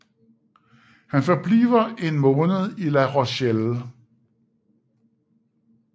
Han forbliver en måned i La Rochelle